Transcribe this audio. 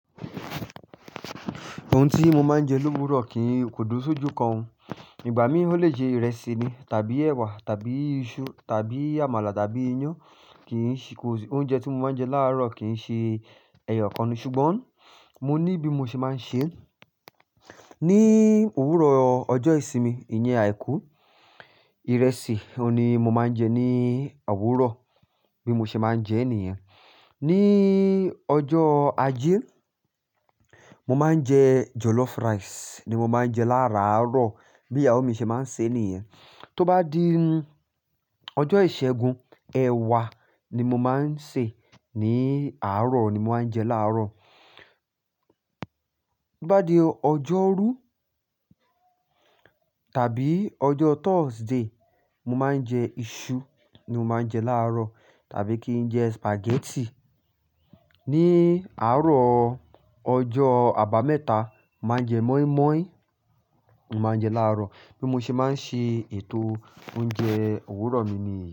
Ohun tí mo máa ń jẹ lówurò kí n kò dùro sójú kan ò. Ìgbà mí ó lè jẹ ìrẹsì ni tàbí ẹwà tàbí iṣu tàbí àmàlà tàbí iyán. Kì í ṣe, ko si oúnjẹ tí mo máa ń jẹ láàárọ̀ kì í ṣe ẹ̀yọ̀ kan ni. Ṣùgbọ́n mo ní bí mo ṣe máa ń ṣe é. Ni òwúrọ̀ ọjọ́ ìsinmi, ìyẹn àìkú, ìrẹsì oun ni mo máa ń jẹ ní owúrọ̀ bí mo ṣe máa ń jẹ níyẹn. Ni ọjọ́ ajé, mo máa ń jẹ jollof rice ni mo máa ń jẹ láàrárọ̀ bí ìyàwó mi ṣe máa ń ṣe é níyẹn. Tó bá di ọjọ́ ìṣẹ́gun, ẹ̀wà ni mo máa ń sè ní àárọ̀ oun ni mo máa ń jẹ láàárọ̀. Tó bá di ọjọ́rú tàbí ọjọ́ Thursday, mo máa ń jẹ iṣu ni mo máa ń jẹ láàárọ̀ tàbí kí n jẹ spaghetti. Ni àárọ̀ ọjọ́ àbámẹ́ta, mo màá n jẹ moi moi, mo máa ń jẹ láàárọ̀ bí mo ṣe máa ń ṣe ètò oúnjẹ òwúrọ̀ mi nìyii.